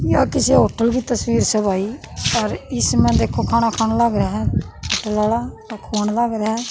या किसे होटल की तस्वीर स भाई अर इसम्ह देखो खाणा खाण लाग रया ह होटल आला अर खुवाण लाग रया ह।